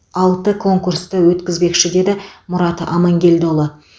алты конкурсты өткізбекші деді мұрат амангелдіұлы